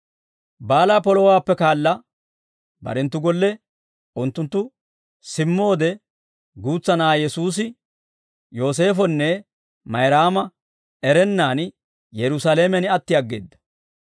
Baalaa polowaappe kaala barenttu golle unttunttu simmoode guutsa na'aa Yesuusi Yooseefonne Mayraama erennaan Yerusaalamen atti aggeedda.